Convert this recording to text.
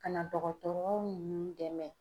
Ka na dɔgɔtɔrɔw ninnu dɛmɛ.